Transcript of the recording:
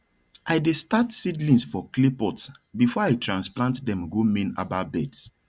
i dey start seedlings for clay pot before i transplant dem go main herbal beds